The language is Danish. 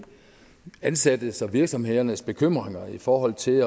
ansattes og virksomhedernes bekymringer i forhold til